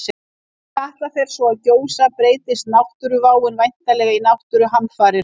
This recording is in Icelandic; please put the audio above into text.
Þegar Katla svo fer að gjósa breytist náttúruváin væntanlega í náttúruhamfarir.